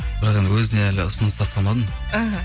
бірақ енді өзіне әлі ұсыныс тастамадым іхі